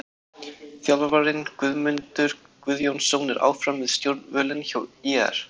Þjálfarinn: Guðmundur Guðjónsson er áfram við stjórnvölinn hjá ÍR.